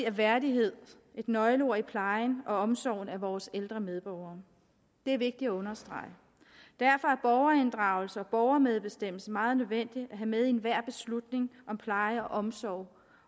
er værdighed et nøgleord i plejen og omsorgen af vores ældre medborgere det er vigtigt at understrege derfor er borgerinddragelse og borgermedbestemmelse meget nødvendigt at have med i enhver beslutning om pleje og omsorg